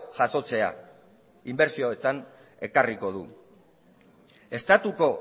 jasotzea inbertsioetan ekarriko du estatuko